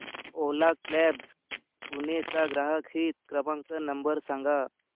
ओला cabs Pune चा ग्राहक हित क्रमांक नंबर सांगा